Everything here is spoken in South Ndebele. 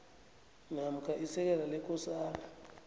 namkha isekela lekosana